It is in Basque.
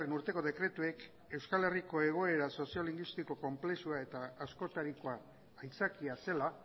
urteko dekretuek euskal herriko egoera soziolinguistiko konplexua eta askotarikoa aitzakia zela